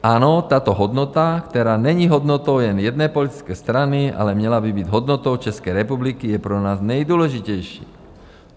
Ano, tato hodnota, která není hodnotou jen jedné politické strany, ale měla by být hodnotou České republiky, je pro nás nejdůležitější.